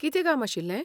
कितें काम आशिल्लें?